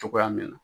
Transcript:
Cogoya min na